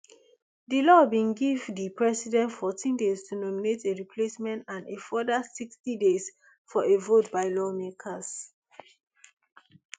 di law bin give di president fourteen days to nominate a replacement and a further sixty days for a vote by lawmakers